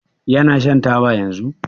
Yana shan taba yanzun?